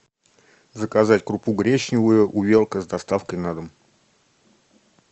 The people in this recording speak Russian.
заказать крупу гречневую увелка с доставкой на дом